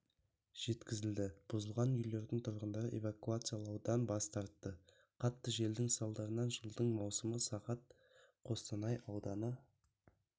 жеткізілді бұзылған үйлердің турғындары эвакуациялаудан бас тартты қатты желдің салдарынан жылдың маусымы сағат қостанай ауданы